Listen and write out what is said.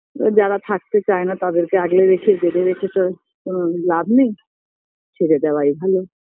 যারা থাকতে চায়না তাদেরকে আগলে রেখে বেঁধে রেখে তো কোনো লাভ নেই ছেড়ে দেওয়াই ভালো